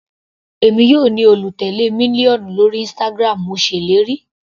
Èmi yóò ní olùtèlé mílíọ̀nù lórí Instagram, mo ṣèlérí.